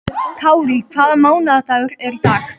Kárí, hvaða mánaðardagur er í dag?